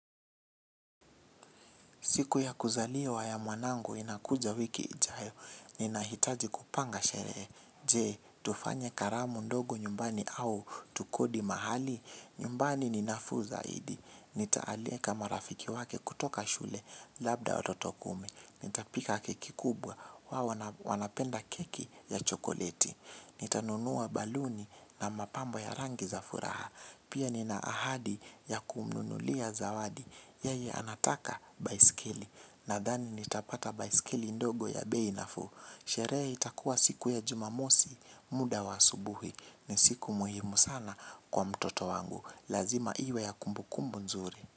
Siku ya kuzaliwa ya mwanangu inakuja wiki ijayo, ninahitaji kupanga sheree. Je, tufanye karamu ndogo nyumbani au tukodi mahali, nyumbani ni nafuu zaidi. Nitaaleka marafiki wake kutoka shule, labda watoto kumi. Nita pika keki kubwa wao wanapenda keki ya chokoleti. Nitanunua baluni na mapambo ya rangi za furaha. Pia nina ahadi ya kumnunulia zawadi. Yeye anataka baiskeli. Nadhani nitapata baiskeli ndogo ya bei nafuu. Sheree itakuwa siku ya jumamosi muda wa asubuhi. Ni siku muhimu sana kwa mtoto wangu. Lazima iwe ya kumbu kumbu nzuri.